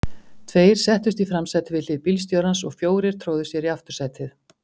Tveir settust í framsætið við hlið bílstjórans og fjórir tróðu sér í aftursætið.